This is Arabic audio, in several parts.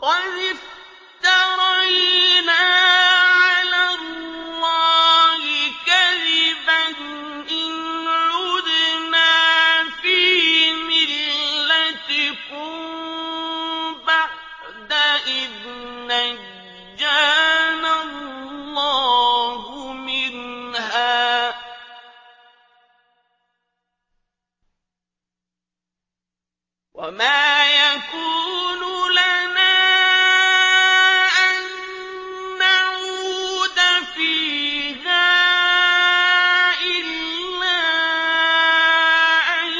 قَدِ افْتَرَيْنَا عَلَى اللَّهِ كَذِبًا إِنْ عُدْنَا فِي مِلَّتِكُم بَعْدَ إِذْ نَجَّانَا اللَّهُ مِنْهَا ۚ وَمَا يَكُونُ لَنَا أَن نَّعُودَ فِيهَا إِلَّا أَن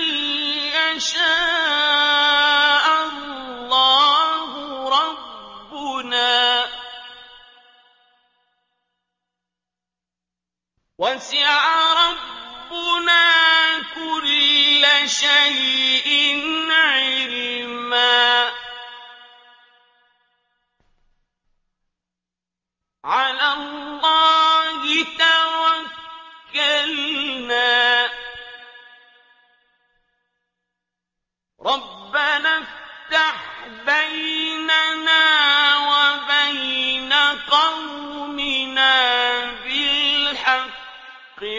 يَشَاءَ اللَّهُ رَبُّنَا ۚ وَسِعَ رَبُّنَا كُلَّ شَيْءٍ عِلْمًا ۚ عَلَى اللَّهِ تَوَكَّلْنَا ۚ رَبَّنَا افْتَحْ بَيْنَنَا وَبَيْنَ قَوْمِنَا بِالْحَقِّ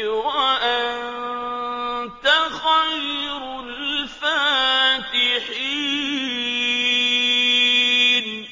وَأَنتَ خَيْرُ الْفَاتِحِينَ